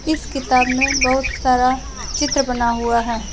इस किताब में बहुत सारा चित्र बना हुआ है।